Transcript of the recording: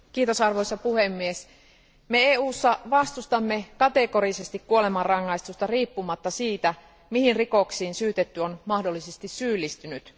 Arvoisa puhemies, me EUssa vastustamme kategorisesti kuolemanrangaistusta riippumatta siitä, mihin rikoksiin syytetty on mahdollisesti syyllistynyt.